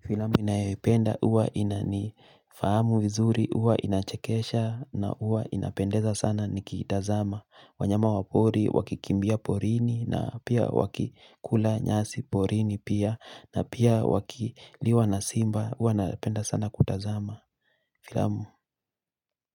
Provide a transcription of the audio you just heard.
Filamu ninayopenda huwa inanifahamu vizuri huwa inachekesha na huwa inapendeza sana nikiitazama. Wanyama wa pori wakikimbia porini na pia wakikula nyasi porini pia na pia wakiliwa na simba huwa napenda sana kutazama filamu